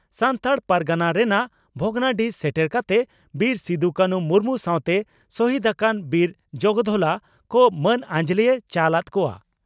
ᱫᱚ ᱥᱟᱱᱛᱟᱲ ᱯᱟᱨᱜᱟᱱᱟ ᱨᱮᱱᱟᱜ ᱵᱷᱚᱜᱽᱱᱟᱰᱤᱦᱤ ᱥᱮᱴᱮᱨ ᱠᱟᱛᱮ ᱵᱤᱨ ᱥᱤᱫᱩᱼᱠᱟᱹᱱᱦᱩ ᱢᱩᱨᱢᱩ ᱥᱟᱣᱛᱮ ᱥᱚᱦᱤᱫᱽ ᱟᱠᱟᱱ ᱵᱤᱨ ᱡᱚᱜᱽ ᱫᱷᱚᱞᱟ ᱠᱚ ᱢᱟᱹᱱ ᱟᱸᱡᱽᱞᱮᱭ ᱪᱟᱞ ᱟᱫ ᱠᱚᱣᱟ ᱾